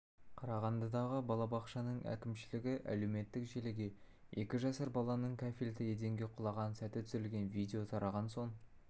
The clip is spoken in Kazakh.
қарағандыдағы балабақшаның әкімшілігі әлеуметтік желіге екі жасар баланың кафельді еденге құлаған сәті түсірілген видео тараған соң